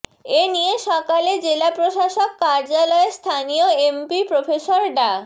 এ নিয়ে সকালে জেলা প্রশাসক কার্যালয়ে স্থানীয় এমপি প্রফেসর ডা